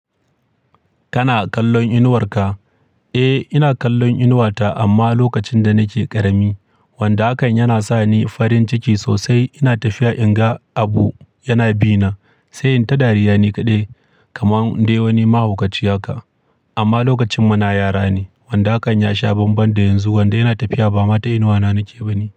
Kana kallon inuwar ka? Eh, ina kallon inuwata amma lokacin da nake ƙarami, wanda hakan yana sa ni farin ciki sosai. Ina tafiya in ga abu yana bina, sai in ta dariya nikaɗai kamar ɗewani mahaukaci haka. Amma lokacin muna yara ne, wanda hakan ya sha banban da yanzu. Wanda yana tafiya ba mata inuwa na nake ba ne.